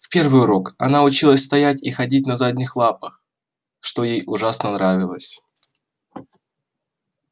в первый урок она училась стоять и ходить на задних лапах что ей ужасно нравилось